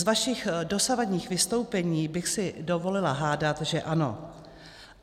Z vašich dosavadních vystoupení bych si dovolila hádat, že ano.